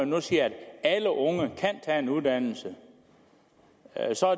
nu siger at alle unge kan tage en uddannelse